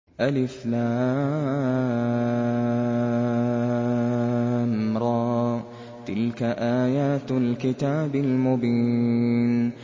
الر ۚ تِلْكَ آيَاتُ الْكِتَابِ الْمُبِينِ